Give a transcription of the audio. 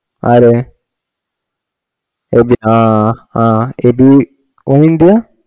ആരെ എബി ആ ആ എബി ഒന്നിന്റെ